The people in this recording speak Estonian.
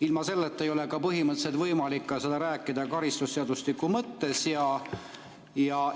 Ilma selleta ei ole põhimõtteliselt võimalik sellest karistusseadustiku mõttes rääkida.